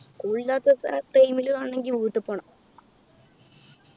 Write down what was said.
school ഇല്ലാത്ത സ time ലു കാണണെങ്കി വീട്ടിൽ പോണം